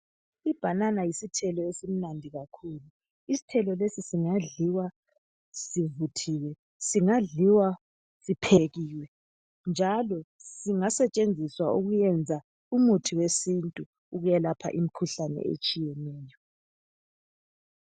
Ibanana yisithelo esimnandi kakhulu isithelo lesi singadliwa sivuthiwe singadliwa siphekiwe njalo singasetshenziswa ukuyenza umithi wesintu ukwelapha imikhuhlane etshiyeneyo.